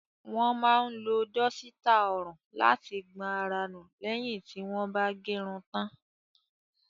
Wọ́n máa ń lo dọ́sítà ọrùn láti gbọn ara nù lẹ́yìn tí wọ́n bá gẹrun tán.